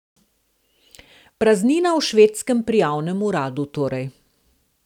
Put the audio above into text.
Praznina v švedskem prijavnem uradu torej.